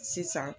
Sisan